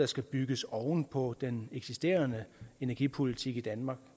skal bygges oven på den eksisterende energipolitik i danmark